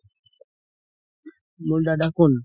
মোৰ দাদা কোন?